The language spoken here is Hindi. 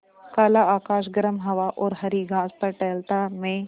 काला आकाश गर्म हवा और हरी घास पर टहलता मैं